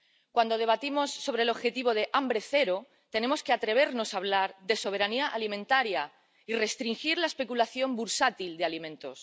Cuando debatimos sobre el objetivo de hambre cero, tenemos que atrevernos a hablar de soberanía alimentaria y restringir la especulación bursátil de alimentos